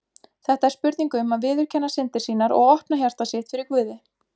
Þetta er spurning um að viðurkenna syndir sínar og opna hjarta sitt fyrir Guði.